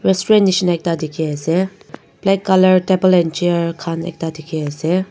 Restaurant nishna ekta dekhi ase black colour table and chair khan ekta dekhi ase.